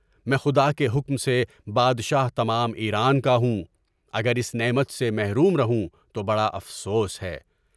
میں خدا کے حکم سے بادشاہ تمام ایران کا ہوں، اگر اس نعمت سے محروم رہوں تو بڑا افسوس ہے۔